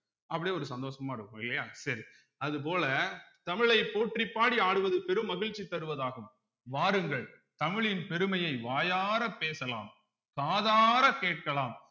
அப்படியே ஒரு சந்தோஷமா இருக்கும் இல்லையா சரி அது போல தமிழைப் போற்றிப் பாடி ஆடுவது பெரும் மகிழ்ச்சி தருவதாகும் வாருங்கள் தமிழின் பெருமையை வாயாரப் பேசலாம் காதார கேட்கலாம்